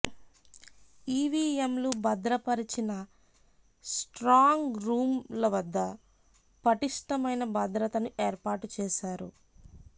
ఈవీఎంలు భద్రపరిచిన strong room లవద్ద పటిష్టమైన భద్రతను ఏర్పాటు చేశారు